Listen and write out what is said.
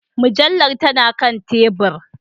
Mujallar tana kan tebur